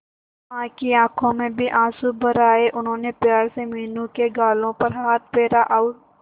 मां की आंखों में भी आंसू भर आए उन्होंने प्यार से मीनू के गालों पर हाथ फेरा और